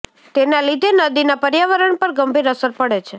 તેના લીધે નદીના પર્યાવરણ પર ગંભીર અસર પડે છે